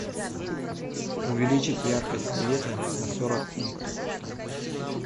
увеличить яркость света на сорок пунктов